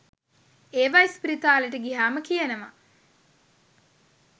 ඒවා ඉස්පිරිතාලෙට ගියහම කියනවා